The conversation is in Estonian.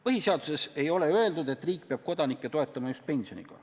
Põhiseaduses ei ole öeldud, et riik peab kodanikke toetama just pensioniga.